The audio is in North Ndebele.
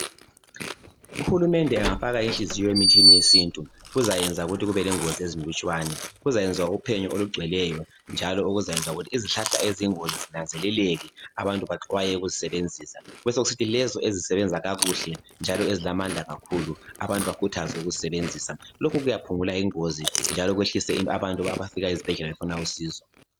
Uhulumende engafaka inhliziyo emithini yesintu kuzayenza ukuthi kube lengozi ezinlutshwane kuzayenzwa uphenyo olugcweleyo njalo okuzayenza ukuthi izihlahla eziyingozi zinanzeleleke abantu baxhwaye ukuzisebenzisa besekusithi lezo ezisebnza kakuhle njalo ezilamandla kakhulu abantu bayakhuthazwe ukuzisebenzisa lokhu lokhu kuyaphungula ingozi njalo abantu abafika ezibhedlela befuna usizo.